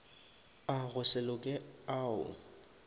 a go se loke ao